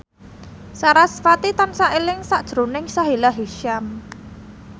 sarasvati tansah eling sakjroning Sahila Hisyam